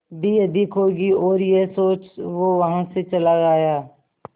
भी अधिक होगी और यह सोच वो वहां से चला आया